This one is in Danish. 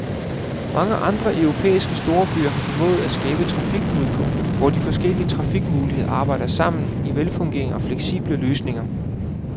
Mange andre europæiske storbyer har formået at skabe trafikknudepunkter, hvor de forskellige transportmuligheder arbejder sammen i velfungerende og fleksible løsninger.